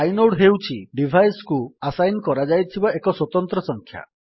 inode ହେଉଛି device କୁ assign କରାଯାଇଥିବା ଏକ ସ୍ୱତନ୍ତ୍ର ସଂଖ୍ୟା